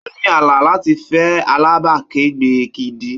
Ó ní àlá láti fẹ́ alábàákẹ́gbẹ́ gidi.